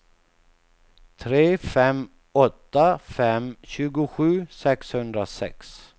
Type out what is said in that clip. tre fem åtta fem tjugosju sexhundrasex